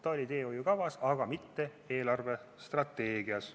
Ta oli teehoiukavas, aga mitte eelarvestrateegias.